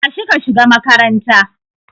Tashi ka shiga makaranta